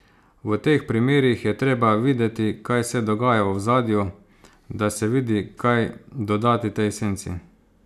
V teh primerih je treba videti, kaj se dogaja v ozadju, da se vidi, kaj dodati tej esenci.